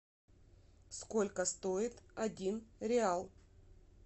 сколько стоит один реал